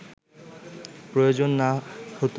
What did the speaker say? প্রয়োজন না হত